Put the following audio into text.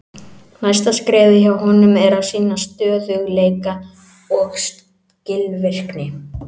Næsta skrefið hjá honum er að sýna stöðugleika og skilvirkni.